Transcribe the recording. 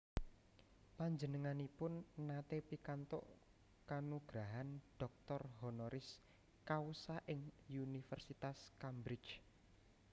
Panjenenganipun naté pikantuk kanugrahan doctor honoris causa ing Universitas Cambridge